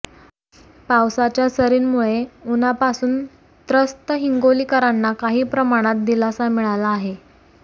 पावसाच्या सरींमुळे उन्हापासून त्रस्त हिंगोलीकरांना काही प्रमाणात दिलासा मिळाला आहे